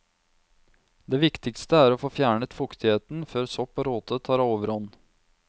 Det viktigste er å få fjernet fuktigheten før sopp og råte tar overhånd.